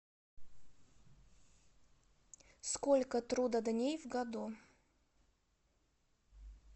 сколько трудодней в году